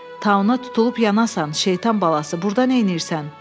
Tauna tutulub yanasan, şeytan balası, burda neynirsən?